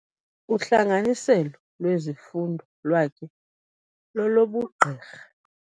Uhlanganiselo lwezifundo lwakhe lolobugqirha.